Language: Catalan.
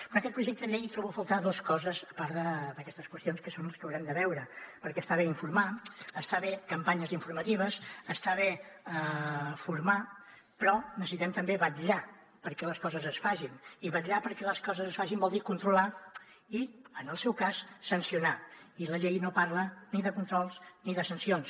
en aquest projecte de llei trobo a faltar dos coses a part d’aquestes qüestions que són les que haurem de veure perquè està bé informar està bé campanyes informatives està bé formar però necessitem també vetllar perquè les coses es facin i vetllar perquè les coses es facin vol dir controlar i en el seu cas sancionar i la llei no parla ni de controls ni de sancions